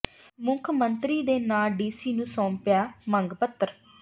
ਮੁੱਖ ਮੰਤਰੀ ਦੇ ਨਾਂ ਡੀਸੀ ਨੂੰ ਸੌਂਪਿਆ ਮੰਗ ਪੱਤਰ